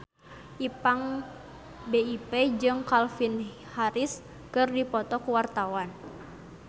Ipank BIP jeung Calvin Harris keur dipoto ku wartawan